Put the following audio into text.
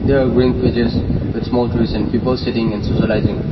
there are green with small trees people sitting and--